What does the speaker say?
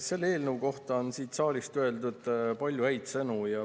Selle eelnõu kohta on siit saalist öeldud palju häid sõnu.